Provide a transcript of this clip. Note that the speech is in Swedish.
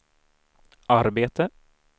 arbete